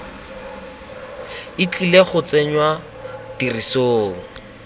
e tlile go tsenngwa tirisong